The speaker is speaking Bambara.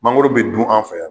Mangoro bɛ dun an fɛ yan.